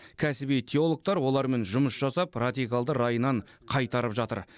кәсіби теологтар олармен жұмыс жасап радикалды райынан қайтарып жатыр